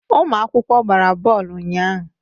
Ụmụ akwụkwọ gbara bọọlụ ụnyaahụ.